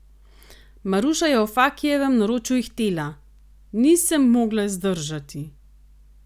Maruša je v Fakijevem naročju ihtela: "Nisem mogla zdržati ...